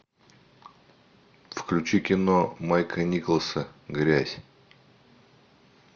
включи кино майка николса грязь